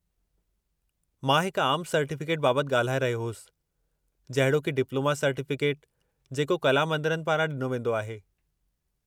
मां हिकु आमु सर्टीफ़िकेट बाबति ॻाल्हाए रहियो होसि, जहिड़ोकि डिप्लोमा सर्टीफ़िकेट जेको कला मंदरनि पारां ॾिनो वेंदो आहे।